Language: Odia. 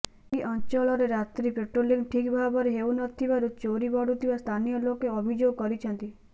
ଏହି ଅଞ୍ଚଳରେ ରାତ୍ରି ପାଟ୍ରୋଲିଂ ଠିକ୍ ଭାବରେ ହେଉ ନଥିବାରୁ ଚୋରି ବଢ଼ୁଥିବା ସ୍ଥାନୀୟ ଲୋକେ ଅଭିଯୋଗ କରିଛନ୍ତି